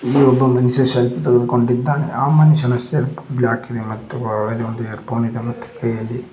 ಇಲ್ಲಿ ಒಬ್ಬ ಮನುಷ್ಯ ಸೆಲ್ಪಿ ತೆಗೆದುಕೊಂಡಿದ್ದಾನೆ ಆ ಮನುಷ್ಯನ ಶರ್ಟ್ ಬ್ಲಾಕಿ ದೆ ಮತ್ತು ಒಳಗೆ ಒಂದು ಇಯರ್ಫೋನ್ ಇದೆ ಮತ್ತು ಕೈಯಲ್ಲಿ --